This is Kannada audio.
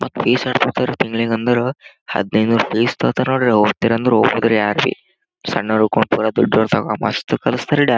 ಮತ್ತ ಫಿಸ್‌ ಎಸ್ಟ ತೊಗೊತಾರ ತಿಂಗಳಿಗ್ ಅಂದರ ಹದ್ನೈದನೂರ ಫಿಸ್‌ ತೊಗೊತಾರ ನೊಡ್ರಿ ಹೋಗತೀರಿ ಅಂದ್ರು ಹೋಗ್ಬಹುದುರಿ ಯಾರ್ಬಿ ಸಣ್ಣೋರು ಹಿಡಕೂಂಡ ಪೂರ ದೊಡ್ಡೋರು ತನ್ಮ‌ ಮಸ್ತ್ ಕಲಿಸ್ತಾರ್ ಡ್ಯಾನ್ಸ .